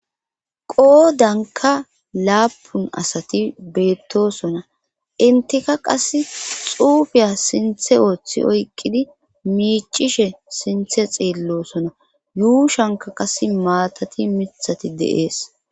Qoodanka laapun asati beettosona intika qas xuufiya sinthe ooththi oyqqidi miicishe sinthe xeelloosona yuushanka qas maatati mithati de7ees